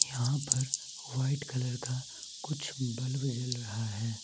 यहां पर white colour का कुछ बल्ब जल रहा है।